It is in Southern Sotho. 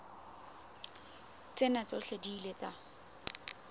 tsena tsohle di ile tsa